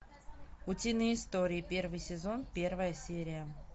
утиные истории первый сезон первая серия